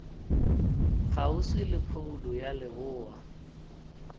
kgauswi le phoulo ya leboa